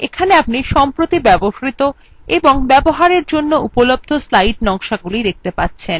এখানে আপনি recently used অর্থাৎ সম্প্রতি ব্যবহৃত এবং available for use অর্থাৎ ব্যবহারের জন্য উপলব্ধ slide নকশাগুলি দেখতে পাবেন